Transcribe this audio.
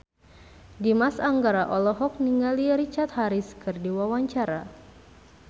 Dimas Anggara olohok ningali Richard Harris keur diwawancara